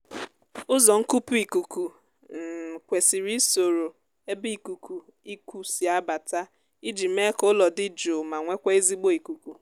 ụzọ nkupu ikuku um kwesiri isoro ebe ikuku iku si abata iji mee ka ụlọ dị jụụ ma nwekwaa ezigbo ikuku